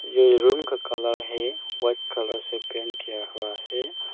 ये रूम का कलर है वाइट कलर से पेंट किया हुआ है।